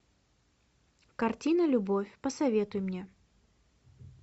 картина любовь посоветуй мне